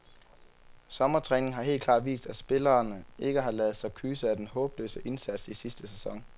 Sommertræningen har helt klart vist, at spillerne ikke har ladet sig kyse af den håbløse indsats i sidste sæson.